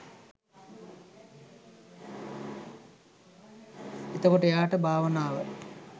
එතකොට එයාට භාවනාව